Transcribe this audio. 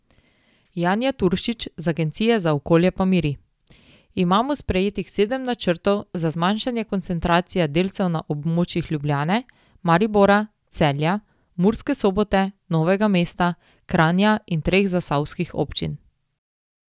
Janja Turšič z agencije z okolje pa miri: "Imamo sprejetih sedem načrtov za zmanjšanje koncentracije delcev na območjih Ljubljane, Maribora, Celja, Murske Sobote, Novega Mesta, Kranja in treh zasavskih občin.